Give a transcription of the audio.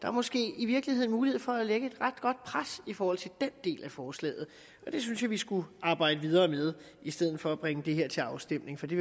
er måske i virkeligheden mulighed for at lægge et ret godt pres i forhold til den del af forslaget og det synes jeg vi skulle arbejde videre med i stedet for at bringe det her til afstemning for det